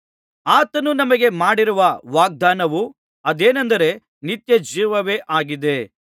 ಆತನು ನಮಗೆ ಮಾಡಿರುವ ವಾಗ್ದಾನವು ಅದೇನೆಂದರೆ ನಿತ್ಯಜೀವವೇ ಆಗಿದೆ